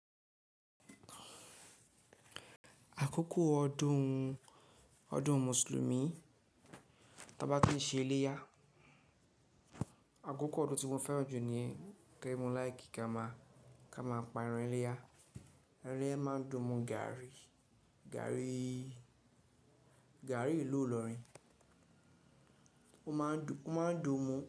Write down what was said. Àkókò ọdún, ọdún Mùsùlùmí, tí a bá tin ṣe iléyá, àkókò ọdún tí mo fẹ́ràn jù ní Kẹ́mú láì gẹ́ ma, ká máa pa érán iléyá. Érán yẹn máa ń dùn mú gaàrí, gaàrí, gaàrí ìlú Òlòrin. Ó máa ń dùn, ó máa ń dùn mọ́